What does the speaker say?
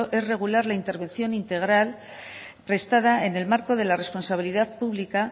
es regular la intervención integral prestada en el marco de la responsabilidad pública